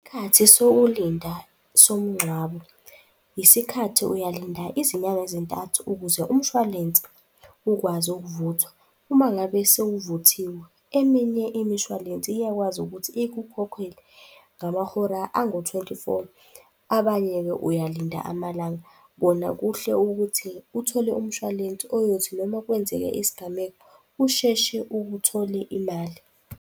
Isikhathi sokulinda somngcwabo, isikhathi uyalinda izinyanga ezintathu ukuze umshwalense ukwazi ukuvuthwa. Uma ngabe sewuvuthiwe, eminye imishwalensi iyakwazi ukuthi ikukhokhele ngamahora angu-twenty four. Abanye-ke, uyalinda amalanga. Kona kuhle ukuthi uthole umshwalense oyothi noma kwenzeke isigameko, usheshe ukuthole imali.